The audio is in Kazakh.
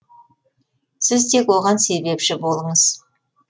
сіз тек оған себепші болыңыз